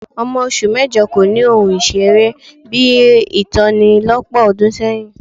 Ọmọ oṣù mẹ́jọ kò ni ohun ìṣeré bí i tòní lọ́pọ̀ ọdún sẹ́yìn